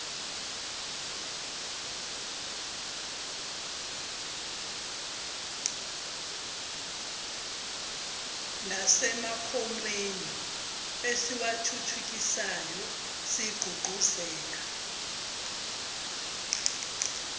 nasemakhonweni esiwathuthukisayo sigqugquzela